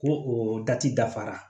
Ko o da ci dafara